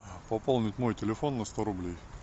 пополнить мой телефон на сто рублей